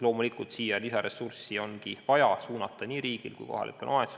Loomulikult on nii riigil kui ka kohalikel omavalitsustel vaja siia lisaressurssi suunata.